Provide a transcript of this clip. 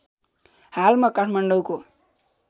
हाल म काठमाडौँको